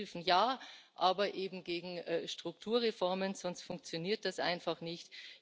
Das heißt Hilfen ja, aber eben gegen Strukturreformen, sonst funktioniert das einfach nicht.